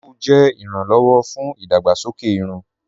Clóòvù jẹ iràn-lọ́wọ̀ fún idàgbàsọkè ìrùn.